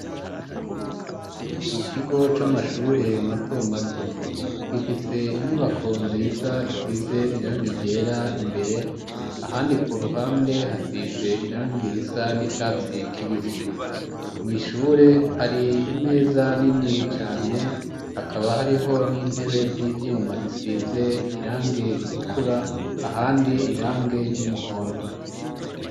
Mu kigo c'amashure mato mato, gifise inyubako nziza isize irangi ryera imbere ahandi ku ruhande hasize irangi risa n'icatsi kibisi, mw'ishure hari imeza nini cane hakaba hariho n'intebe z'ivyuma zisize irangi ritukura ahandi irangi ry'umuhondo.